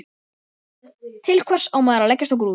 Til hvers á maður að leggjast á grúfu?